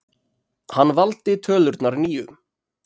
Hann valdi tölurnar níu.